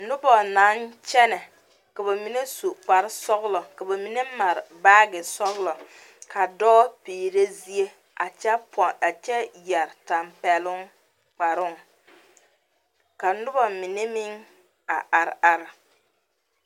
Noba na kyene. Ka ba mene su kpar sɔglɔ, ka ba mene mar baagi sɔglɔ. Ka doɔ piire zie a kyɛ pon a kyɛ yɛre tampɛluŋ kparuŋ. Ka noba mene meŋ a are are